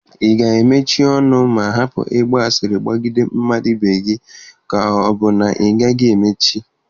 Ị ga-emechi ọnụ ma hapụ ịgba asịrị gbagide mmadụ ibe gị ka ọ bụ na ị gaghị emechi?